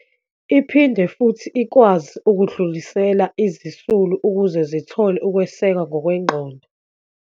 Iphinde futhi ikwazi ukudlulisela izisulu ukuze zithole ukwesekwa ngokwengqondo.